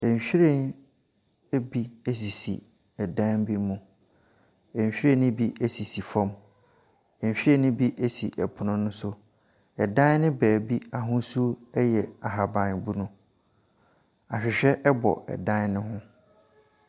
Nhwiren bi sisi dan bi mu, nhwiren ne sisi fam, nhwiren ne bi sisi pono so. Dan ne beebi ahosuo yɛ ahabanmono, ahwehwɛ bɔ dan ne ho.